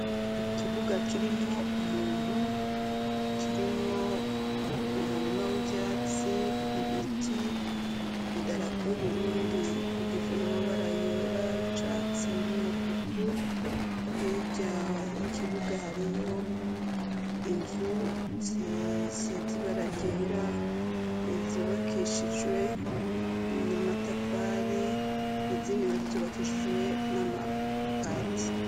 Ikibuga kirimwo umuntu, kirimwo umurima w'ivyatsi, ibiti, idarapo y'Uburundi igizwe n'amabara yera, ay'icatsi n'umutuku, hirya y'ikibuga hariyo inzu zisize ibara ryera zubakishijwe n'amatafari, izindi nazo zubakishijwe n'amabati.